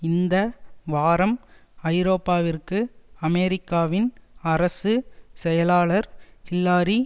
இந்த வாரம் ஐரோப்பாவிற்கு அமெரிக்காவின் அரசு செயலாளர் ஹில்லாரி